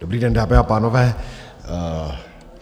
Dobrý den, dámy a pánové.